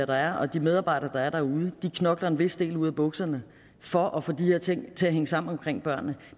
der er og de medarbejdere der er derude knokler en vis del ud af bukserne for at få de her ting til at hænge sammen omkring børnene